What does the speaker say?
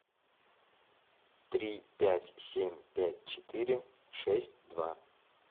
три пять семь пять четыре шесть два